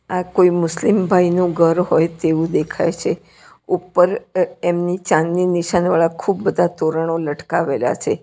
આ કોઈ મુસ્લિમભાઇનું ઘર હોય તેવું દેખાય છે ઉપર અહ એમની ચાંદની નિશાનીવાળા ખૂબ બધા તોરણો લટકાવેલા છે.